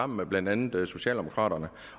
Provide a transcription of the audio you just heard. med blandt andet socialdemokraterne